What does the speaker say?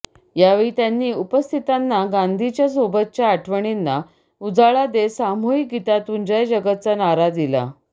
यावेळी त्यांनी उपस्थितांना गांधींच्या सोबतच्या आठवणींना उजाळा देत सामूहिक गीतातून जय जगतचा नारा दिला